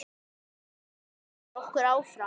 Það hvetur okkur áfram.